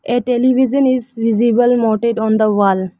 A television is visible monted on the wall.